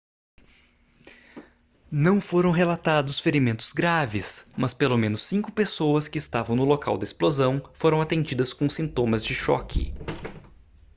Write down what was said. não foram relatados ferimentos graves mas pelo menos cinco pessoas que estavam no local da explosão foram atendidas com sintomas de choque